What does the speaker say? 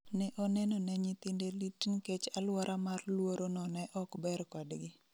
Ne oneno ne nyithinde lit nikech aluora mar luoro no ne okber kodgi